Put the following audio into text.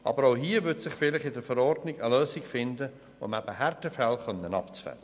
Aber auch hier würde sich vielleicht in einer Verordnung eine Lösung finden, um Härtefälle abzudecken.